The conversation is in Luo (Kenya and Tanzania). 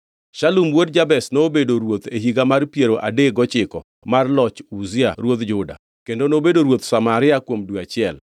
Shalum wuod Jabesh nobedo ruoth e higa mar piero adek gochiko mar loch Uzia ruodh Juda, kendo nobedo ruoth Samaria kuom dwe achiel.